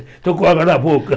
Estou com água na boca.